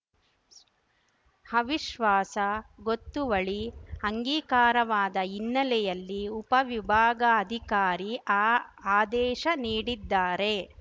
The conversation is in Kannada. ಅವಿಶ್ವಾಸ ಗೊತ್ತುವಳಿ ಅಂಗೀಕಾರವಾದ ಹಿನ್ನೆಲೆಯಲ್ಲಿ ಉಪವಿಭಾಗಾಧಿಕಾರಿ ಆ ಆದೇಶ ನೀಡಿದ್ದಾರೆ